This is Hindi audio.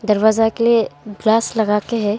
दरवाजा के लिए ग्लास लगा के है।